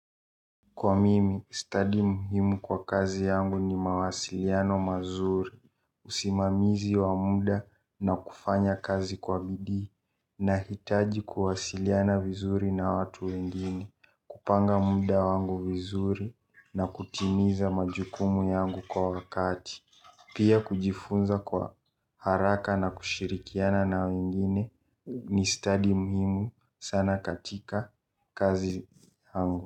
Kwa mimi, study muhimu kwa kazi yangu ni mawasiliano mazuri, usimamizi wa muda na kufanya kazi kwa bidii na hitaji kuwasiliana vizuri na watu wengine, kupanga muda wangu vizuri na kutimiza majukumu yangu kwa wakati, pia kujifunza kwa haraka na kushirikiana na wengine ni stadi muhimu sana katika kazi yangu.